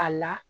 A la